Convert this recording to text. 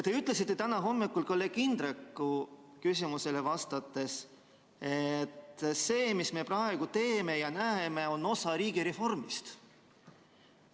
Te ütlesite täna hommikul kolleeg Indreku küsimusele vastates, et see, mis me praegu teeme, ja see, mida me näeme, on osa riigireformist.